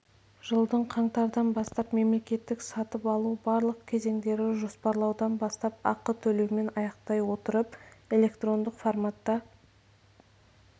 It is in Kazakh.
жылдың қаңтардан бастап мемлекеттік сатып алу барлық кезендері жоспарлаудан бастап ақы төлеумен аяқтай отырып электрондық форматта